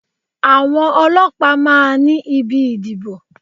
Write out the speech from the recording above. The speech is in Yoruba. Àwọn ọlọ́pàá máa ní ibi ìdìbò.